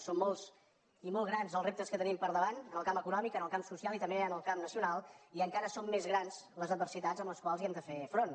són molts i molt grans els reptes que tenim per davant en el camp econòmic en el camp social i també en el camp nacional i encara són més grans les adversitats amb les quals hi hem de fer front